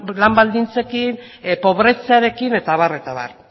lan baldintzekin pobretzearekin eta abar eta abar